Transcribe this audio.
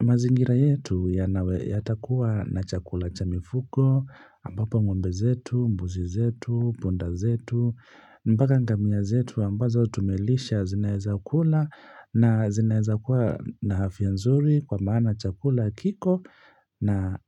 mazingira yetu ya nawe yatakuwa na chakula cha mifugo, ambapo ngombe zetu, mbuzi zetu, punda zetu, mpaka ngamia zetu ambazo tumelisha zinaeza kula na zinaeza kuwa na afya nzuri kwa maana chakula kiko na